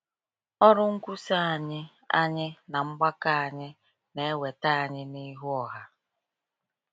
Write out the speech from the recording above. Ọrụ nkwusa anyị anyị na mgbakọ anyị na-eweta anyị n’ihu ọha.